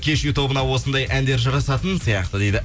кешью тобына осындай әндер жарасатын сияқты дейді